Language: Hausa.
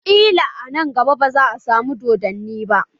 Kila a nan gaba baza a samu doddani ba